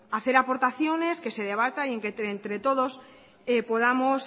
hacer aportaciones que se debata y que entre todos podamos